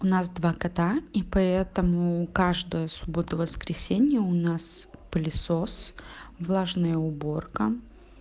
у нас два кота и поэтому каждая субботу воскресенье у нас пылесос влажная уборка